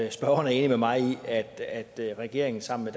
at spørgeren er enig med mig i at at regeringen sammen